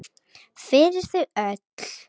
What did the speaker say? Fyrir þau öll!